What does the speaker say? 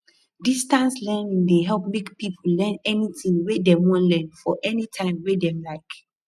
distance learning dey help make people learn anything wey dem wan learn for any time wey dem like